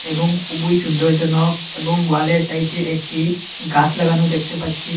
এবং খুবই সুন্দর জনক এবং ওয়ালের সাইটে একটি গাস লাগানো দেখতে পাচ্ছি।